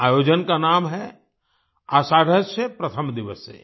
इस आयोजन का नाम है आषाढस्य प्रथम दिवसे